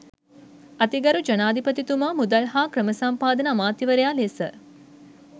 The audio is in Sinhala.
අතිගරු ජනාධිපතිතුමා මුදල් හා ක්‍රමසම්පාදන අමාත්‍යවරයා ලෙස